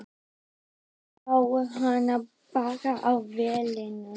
Ég sá hana bara á vellinum.